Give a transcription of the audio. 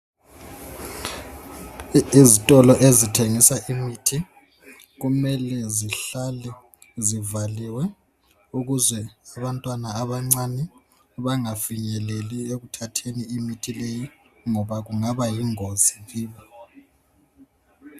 Izitolo ezithengisa imithi kumele zihlale zivaliwe, ukuze abantwana abancane bangafinyeleli ekuthatheni imithi leyi ngoba kungabayingozi kibo.